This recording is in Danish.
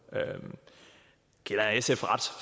kender jeg sf ret